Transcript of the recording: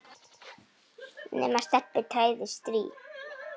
nema Stebbi træði strý.